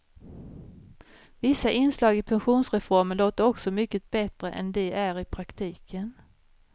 Vissa inslag i pensionsreformen låter också mycket bättre än de är i praktiken.